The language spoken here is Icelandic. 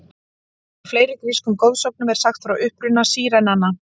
Í fleiri grískum goðsögnum er sagt frá uppruna sírenanna.